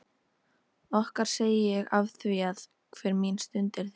Okkar segi ég afþvíað hver mín stund er þín.